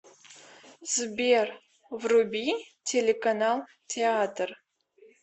сбер вруби телеканал театр